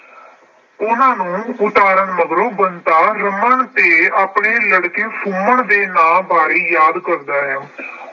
ਉਹਨਾਂ ਨੂੰ ਉਤਾਰਨ ਮਗਰੋਂ ਬੰਤਾ ਰਮਨ ਤੇ ਆਪਣੇ ਲੜਕੇ ਸੁਮਨ ਦੇ ਨਾਂ ਬਾਰੇ ਯਾਦ ਕਰਦਾ ਹੈ।